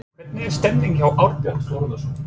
Hvernig er stemningin hjá Árborg?